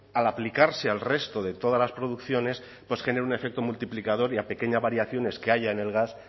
al aplicarse al resto de todas las producciones pues genera un efecto multiplicador y a pequeñas variaciones que haya en el gas